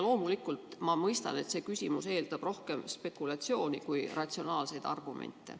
Loomulikult ma mõistan, et see küsimus eeldab rohkem spekulatsiooni kui ratsionaalseid argumente.